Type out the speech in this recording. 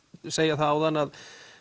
segja það áðan að